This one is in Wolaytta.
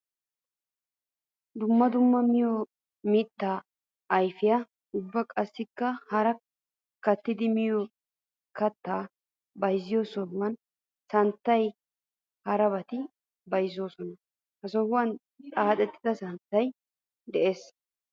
Dumma dumma miyo mitta ayfetta ubba qassikka hara kattiddi miyo kattatta bayzziyo sohuwan santtanne harabatta bayzzosonna. Ha sohuwan xaaxettidda santtay de'ees.